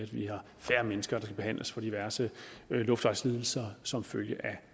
være færre mennesker skal behandles for diverse luftvejslidelser som følge af